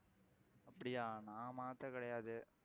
அப்படியா நான் மாத்த கிடையாது